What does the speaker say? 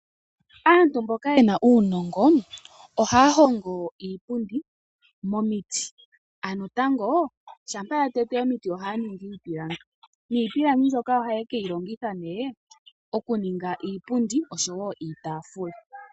Aantu mboka yena uunongo ohaya hongo iipundi momiti, ano tango shampa yatete omiti ohaya ningi iipilangi, niipilangi mbyoka ohaye keyi longitha ne okuninga iipundi osho wo iitafula.